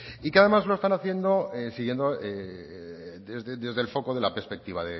y que además lo están haciendo siguiendo desde el foco de la perspectiva